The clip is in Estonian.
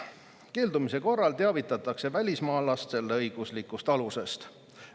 Keeldumise korral teavitatakse välismaalast selle õiguslikust alusest.